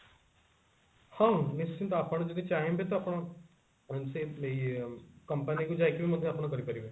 ହଁ ନିଶ୍ଚିନ୍ତ ଆପଣ ଯଦି ଚାହିଁବେ ତ ଆପଣ ସେ ଇ ଏ company କୁ ଯାଇକି ମଧ୍ୟ ଆପଣ କରିପାରିବେ